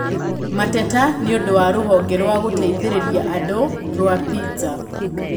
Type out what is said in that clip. Mateta nĩũndũ wa rũhonge rũa gũteithĩrĩria andũ rũa Pizza